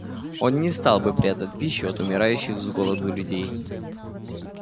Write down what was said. он не стал бы прятать пищу от умирающих с голоду людей